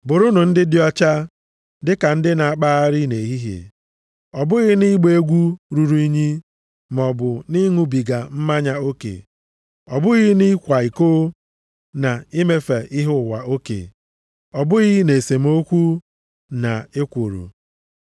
Bụrụnụ ndị dị ọcha, dịka ndị na-akpagharị nʼehihie. Ọ bụghị nʼịgba egwu ruru unyi, maọbụ nʼịṅụbiga mmanya oke, ọ bụghị nʼịkwa iko, na imefe ihe ụwa oke. Ọ bụghị nʼesemokwu, na ekworo.